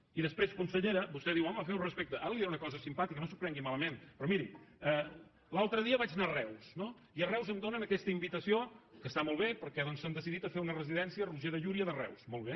i després consellera vostè diu home feu respecte ara li diré una cosa simpàtica no s’ho prengui malament però miri l’altre dia vaig anar a reus no i a reus em donen aquesta invitació que està molt bé perquè doncs s’han decidit a fer una residència roger de llúria de reus molt bé